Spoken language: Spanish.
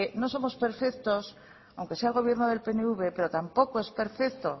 no somos perfectos y aunque sea el gobierno del pnv pero tampoco es perfecto